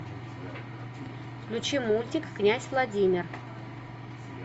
включи мультик князь владимир